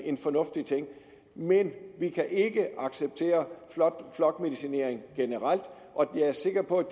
en fornuftig ting men vi kan ikke acceptere flokmedicinering generelt og jeg er sikker på at